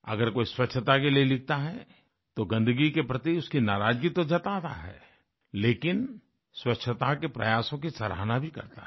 अगर कोई स्वच्छता के लिए लिखता है तो गन्दगी के प्रति उसकी नाराजगी तो जता रहा है लेकिन स्वच्छता के प्रयासों की सराहना भी करता है